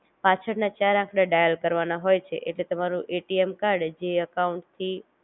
પાછળ ના ચાર આંકડા ડાયલ કરવાના હોય છે એટલે તમારું એટીએમ કાર્ડ જે અકાઉંટ થી